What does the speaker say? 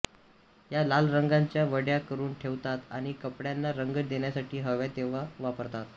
या लाल रंगाच्या वड्या करून ठेवतात आणि कपड्यांना रंग देण्यासाठी हव्या तेव्हा वापरतात